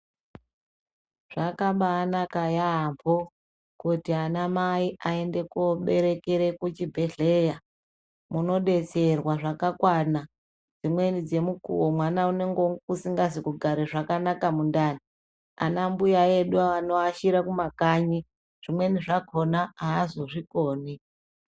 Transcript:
Zvakabanaka yaambo kuti ana mai aende koberekere kuchibhedhleya. Munobetserwa zvakakwana dzimweni dzemukuvo mwana unonge asikazi kugare zvakanaka mundani. Anambuya edu anoashira kumakanyi zvimweni zvakona haazozvikoni.